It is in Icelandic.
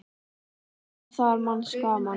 Maður var þar manns gaman.